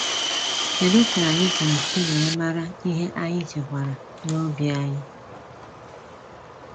Kedu ka anyị ga esi wee mara ihe anyị chekwara n’obi anyị?